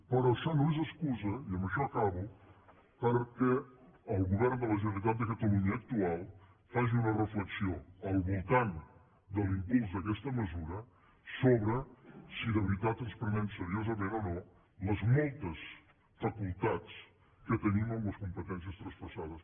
però això no és excusa i amb això acabo perquè el govern de la generalitat de catalunya actual faci una reflexió al voltant de l’impuls d’aquesta mesura sobre si de veritat ens prenem seriosament o no les moltes facultats que tenim amb les competències traspassades